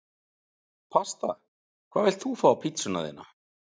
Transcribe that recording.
Pasta Hvað vilt þú fá á pizzuna þína?